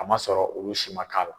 A ma sɔrɔ olu si ma k'a la.